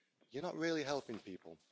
You're not really helping people.